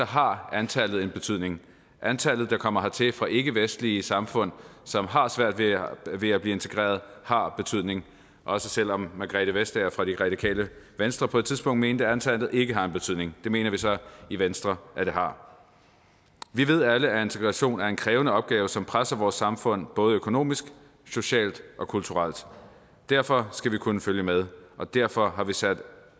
har antallet en betydning antallet der kommer hertil fra ikkevestlige samfund og som har svært ved at blive integreret har betydning også selv om margrethe vestager fra det radikale venstre på et tidspunkt mente at antallet ikke har en betydning det mener vi så i venstre at det har vi ved alle at integration er en krævende opgave som presser vores samfund både økonomisk socialt og kulturelt derfor skal vi kunne følge med og derfor har vi sat